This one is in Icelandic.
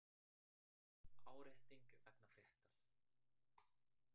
Árétting vegna fréttar